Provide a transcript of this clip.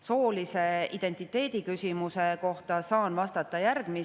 Soolise identiteedi kohta saan vastata järgmist.